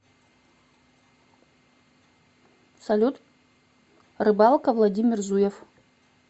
салют рыбалка владимир зуев